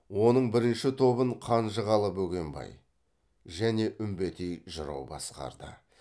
оның бірінші тобын қанжығалы бөгенбай және үмбетей жырау басқарды